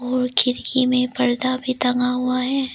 और खिड़की में पर्दा भी टंगा हुआ है।